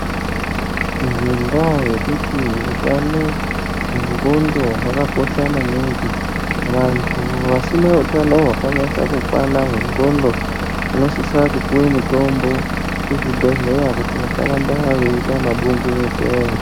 Ngendaa yekuti utano wenqondo wakakosha maningi antu asina utano hwakanase kukwana hwenqondo vanosise kupuwe mitombo kuzvibhehlera kuti vasanyanye kuite mabungu mupeya